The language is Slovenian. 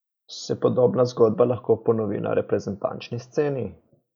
Se podobna zgodba lahko ponovi na reprezentančni sceni?